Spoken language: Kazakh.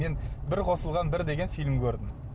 мен бір қосылған бір деген фильм көрдім